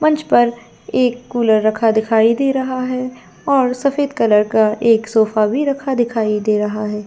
मंच पर एक कुलर रखा हुआ दिखाई दे रहा है और सफेद कलर का एक सोफा भी रखा हुआ दिखाई दे रहा हैं।